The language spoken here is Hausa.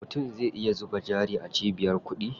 Mutum zai iya zuba jari a cibiyar kuɗi.